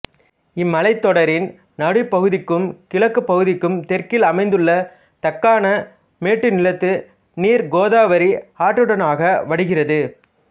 இம் மலைத்தொடரின் நடுப்பகுதிக்கும் கிழக்குப் பகுதிக்கும் தெற்கில் அமைந்துள்ள தக்காண மேட்டுநிலத்து நீர் கோதாவரி ஆற்றினூடாக வடிகிறது